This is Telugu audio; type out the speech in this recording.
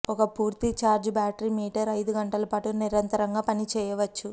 ఒక పూర్తి ఛార్జ్ బ్యాటరీ మీటర్ ఐదు గంటల పాటు నిరంతరంగా పని చేయవచ్చు